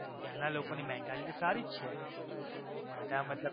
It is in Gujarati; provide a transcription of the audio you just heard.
ત્યાં ના લોકો ની mentality સારી જ છે બધા મતલબ.